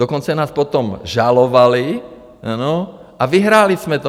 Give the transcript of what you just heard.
Dokonce nás potom žalovali, ano, a vyhráli jsme to.